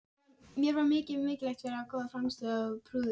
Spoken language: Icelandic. Ekki fara þeir að abbast upp á Íslendinga, eða hvað?